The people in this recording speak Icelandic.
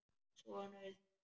Sonur þinn.